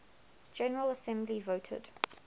general assembly voted